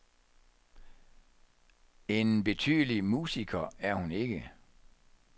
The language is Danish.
En betydelig musiker er hun ikke.